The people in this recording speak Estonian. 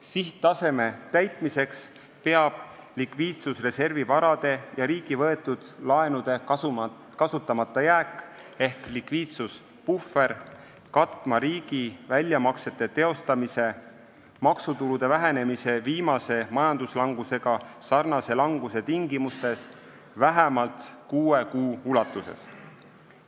Sihttaseme täitmiseks peab likviidsusreservi varade ja riigi võetud laenude kasutamata jääk ehk likviidsuspuhver katma riigi väljamaksete teostamise maksutulude vähenemise, viimase majanduslangusega sarnase languse tingimustes vähemalt kuue kuu ulatuses.